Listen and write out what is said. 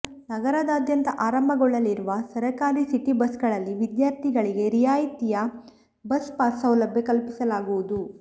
ನಗರದಾದ್ಯಂತ ಆರಂಭಗೊಳ್ಳಲಿರುವ ಸರಕಾರಿ ಸಿಟಿ ಬಸ್ಗಳಲ್ಲಿ ವಿದ್ಯಾರ್ಥಿಗಳಿಗೆ ರಿಯಾಯಿತಿಯ ಬಸ್ ಪಾಸ್ ಸೌಲಭ್ಯ ಕಲ್ಪಿಸಲಾಗುವುದು